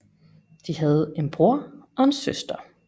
De havde en bror og en søster